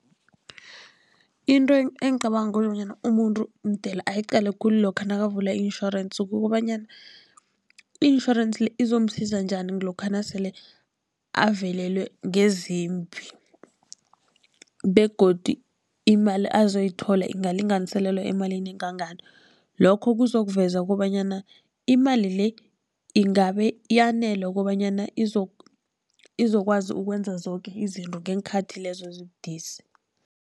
Into engicabanga kobanyana umuntu mdele ayiqale khulu lokha nakavula i-insurance, kukobanyana i-insurance le izomsiza njani lokha nasele avelelwe ngezimbi begodu imali khulu azoyithola ingalinganiselelwa emalini engangani. Lokho kuzokuveza kobanyana imali le ingabe yanele kobanyana izokwazi ukwenza zoke izinto ngeenkhathi lezo ezibudisi.